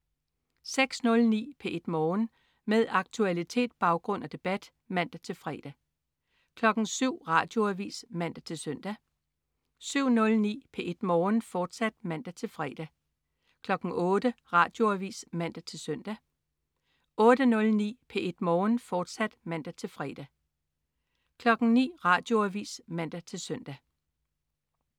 06.09 P1 Morgen. Med aktualitet, baggrund og debat (man-fre) 07.00 Radioavis (man-søn) 07.09 P1 Morgen, fortsat (man-fre) 08.00 Radioavis (man-søn) 08.09 P1 Morgen, fortsat (man-fre) 09.00 Radioavis (man-søn)